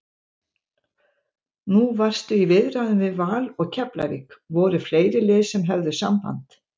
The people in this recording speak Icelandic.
Nú varstu í viðræðum við Val og Keflavík, voru fleiri lið sem höfðu samband?